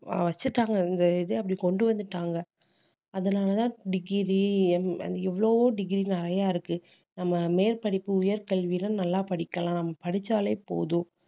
ஆஹ் வச்சுட்டாங்க இந்த இது அப்படி கொண்டு வந்துட்டாங்க அதனாலதான் degree எவ்வளவோ degree நிறைய இருக்கு நம்ம மேற்படிப்பு உயர்கல்வில நல்லா படிக்கலாம் படிச்சாலே போதும்